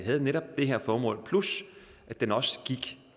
havde netop det her formål plus at den også gik